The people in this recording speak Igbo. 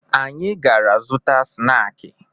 Anyị gara zụta snaakị